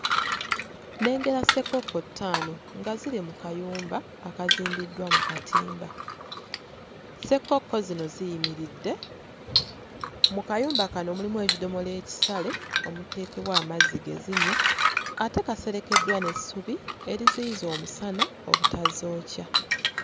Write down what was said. Nnengera ssekkokko ttaano nga ziri mu kayumba akazimbiddwa mu katimba. Ssekkokko zino ziyimiridde mu kayumba kano mulimu ekidomola ekisale omuteekebwa amazzi ge zinywa ate kaserekeddwa n'essubi eriziyiza omusana obutazookya.